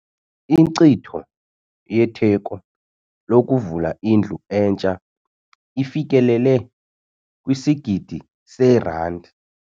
Inkcitho yetheko lokuvula indlu entsha ifikelele kwisigidi seerandi.